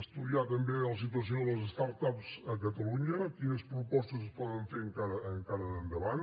estudiar també la situació de les start ups a catalunya quines propostes es poden fer encara de cara endavant